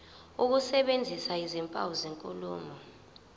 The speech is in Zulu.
ukusebenzisa izimpawu zenkulumo